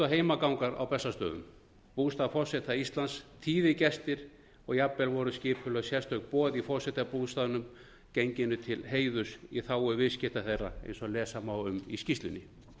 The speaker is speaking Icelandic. og heimagangar á bessastöðum bústað forseta íslands tíðir gestir og jafnvel voru skipulögð sérstök boð í forsetabústaðnum genginu til heiðurs í þágu viðskipta þeirra eins og lesa má um í skýrslunni